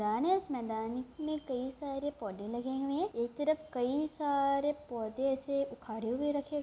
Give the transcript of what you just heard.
मैदान है। इस मैदान में में कई सारे पौधे लगे हुए हैं। एक तरफ कई सारे पौधे ऐसे उखाड़े हुए रखे --